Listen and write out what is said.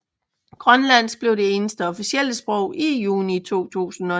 Grønlandsk blev det eneste officielle sprog i juni 2009